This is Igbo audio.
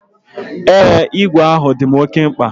Ee, igwe ahụ dim oke mkpa.